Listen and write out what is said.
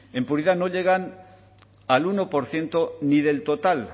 en puridad no llegan al uno por ciento ni del total